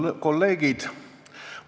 Head kolleegid!